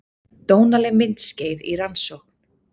Dónaleg myndskeið í rannsókn